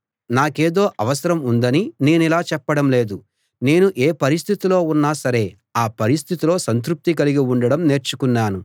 నాకేదో అవసరం ఉందని నేనిలా చెప్పడం లేదు నేను ఏ పరిస్థితిలో ఉన్నా సరే ఆ పరిస్థితిలో సంతృప్తి కలిగి ఉండడం నేర్చుకున్నాను